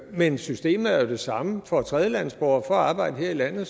men systemet er jo det samme for tredjelandsborgere for at arbejde her i landet